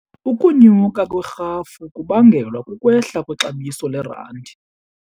Ukunyuka kwerhafu kubangelwa kukwehla kwexabiso lerandi.